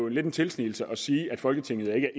lidt en tilsnigelse at sige at folketinget ikke er